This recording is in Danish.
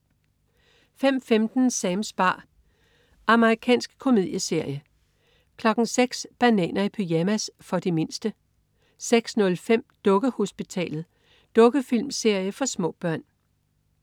05.15 Sams bar. Amerikansk komedieserie 06.00 Bananer i pyjamas. For de mindste 06.05 Dukkehospitalet. Dukkefilmserie for små børn